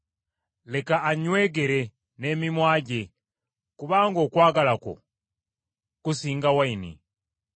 Leka annywegere n’emimwa gye kubanga okwagala kwo kusinga envinnyo,